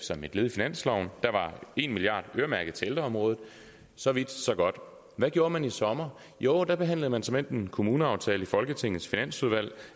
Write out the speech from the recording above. som et led i finansloven der var en milliard øremærket til ældreområdet så vidt så godt hvad gjorde man i sommer jo der behandlede man såmænd en kommuneaftale i folketingets finansudvalg